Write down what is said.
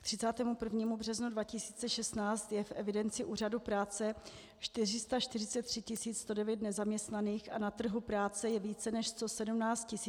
K 31. březnu 2016 je v evidenci úřadu práce 443 109 nezaměstnaných a na trhu práce je více než 117 000 pracovních míst.